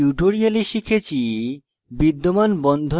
in tutorial শিখেছি